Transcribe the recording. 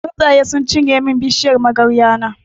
Tsuntsaye sun cinye mun bishiyar magarya na.